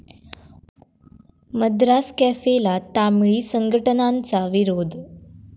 मद्रास कॅफे'ला तामिळी संघटनांचा विरोध